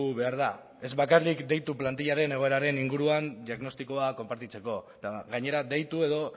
behar da ez bakarrik deitu plantilaren egoeraren inguruan diagnostikoa konpartitzeko eta gainera deitu edo